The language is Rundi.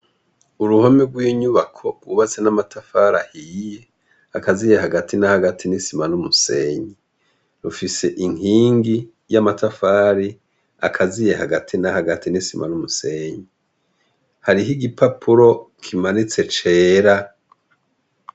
Uruhome rw'inyubako rwubatse n'amatafari ahiye, akaziye hagati na hagati n'isima n'umusenyi. Rufise inkingi y'amatafari akaziye hagati na hagati n'isima n'umusenyi. Hariho igipapuro kimanitse cera.